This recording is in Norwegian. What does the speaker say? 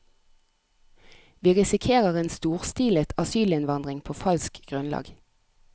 Vi risikerer en storstilet asylinnvandring på falsk grunnlag.